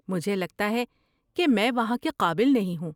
مجھے لگتا ہے کہ میں وہاں کے قابل نہیں ہوں۔